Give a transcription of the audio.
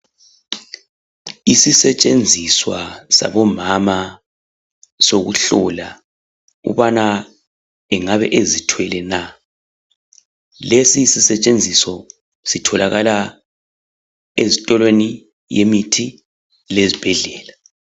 Isisetshenziswa sabomama esokuhlola ukubana angabe ezithwele na lesi sisetshenziso sitholakala ezitolweni yemithi lezibhedlela.